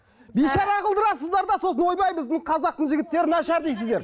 бейшара қылдырасыздар да сосын ойбай біздің қазақтың жігіттері нашар дейсіздер